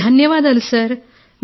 శిరీష ధన్యవాదాలు సార్